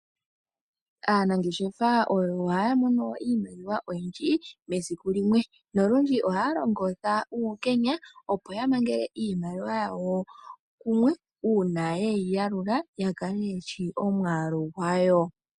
Aanangeshefa oyo haya mono iimaliwa oyindji mesiku limwe, nolundji ohaya longitha uukenya, opo yamangele iimaliwa yawo kumwe, uuna yeyi yalula, yo yakale yeshi omwaalu gwayo.